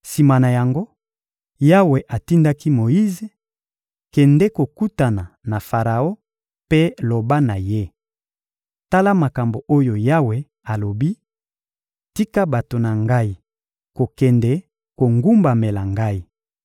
Sima na yango, Yawe atindaki Moyize: «Kende kokutana na Faraon mpe loba na ye: ‹Tala makambo oyo Yawe alobi: Tika bato na Ngai kokende kogumbamela Ngai.